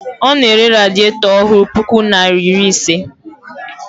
Ọ na-ere radietọ ọhụụ puku naịra iri ise.